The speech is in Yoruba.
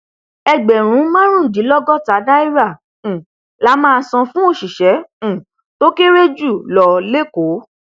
ẹgbẹrún márùndínlọgọta náírà um la máa san fún òṣìṣẹ um tó kéré jù lọ lẹkọọ